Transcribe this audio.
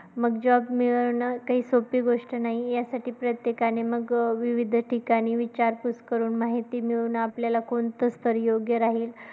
मग job मिळवणं ते हि सोप्पी गोष्ट नाही, यासाठी प्रत्येकाने मग विविध ठिकाणी विचारपूस करून माहिती मिळून आपल्याला कोणतं स्थळ योग्य राहील.